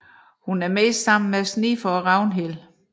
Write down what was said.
Hun er primært sammen med Snifer og Ragnhild